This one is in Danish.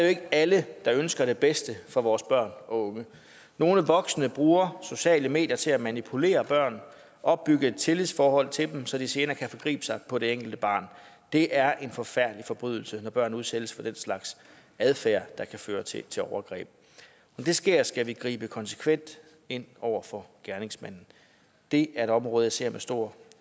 ikke alle der ønsker det bedste for vores børn og unge nogle voksne bruger sociale medier til at manipulere børn opbygge et tillidsforhold til dem så de senere kan forgribe sig på det enkelte barn det er en forfærdelig forbrydelse når børn udsættes for den slags adfærd der kan føre til til overgreb når det sker skal vi gribe konsekvent ind over for gerningsmanden det er et område jeg ser med stor